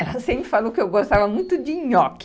Ela sempre falou que eu gostava muito de nhoque.